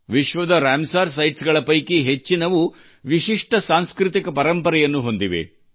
ವಿಶ್ವದ Ramsar sites ಗಳ ಪೈಕಿ ಹೆಚ್ಚಿನವು ವಿಶಿಷ್ಟ ಸಾಂಸ್ಕೃತಿಕ ಪರಂಪರೆಯನ್ನು ಹೊಂದಿವೆ